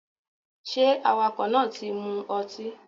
ṣe awakọ náà tí mó ọtí?